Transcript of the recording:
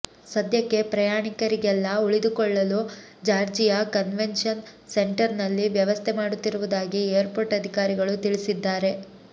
ಸದ್ಯಕ್ಕೆ ಪ್ರಯಾಣಿಕರಿಗೆಲ್ಲ ಉಳಿದುಕೊಳ್ಳಲು ಜಾರ್ಜಿಯಾ ಕನ್ವೆನ್ಷನ್ ಸೆಂಟರ್ ನಲ್ಲಿ ವ್ಯವಸ್ಥೆ ಮಾಡುತ್ತಿರುವುದಾಗಿ ಏರ್ಪೋರ್ಟ್ ಅಧಿಕಾರಿಗಳು ತಿಳಿಸಿದ್ದಾರೆ